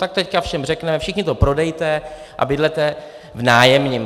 Tak teď všem řekneme: všichni to prodejte a bydlete v nájemním.